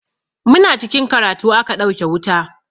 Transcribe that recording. Muna cikin karatu aka ɗauke wuta.